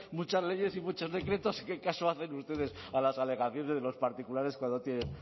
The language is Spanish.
muchas leyes y muchos decretos qué caso hacen ustedes a las alegaciones de los particulares cuando tienen